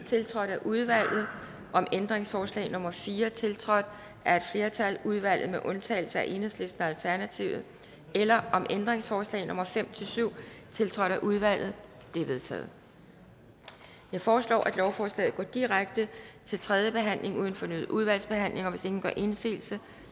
tiltrådt af udvalget om ændringsforslag nummer fire tiltrådt af et flertal i udvalget med undtagelse af enhedslisten og alternativet eller om ændringsforslag nummer fem syv tiltrådt af udvalget det er vedtaget jeg foreslår at lovforslaget går direkte til tredje behandling uden fornyet udvalgsbehandling hvis ingen gør indsigelse